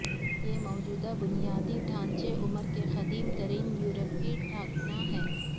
یہ موجودہ بنیادی ڈھانچے عمر کے قدیم ترین یورپی ٹھکانا ہے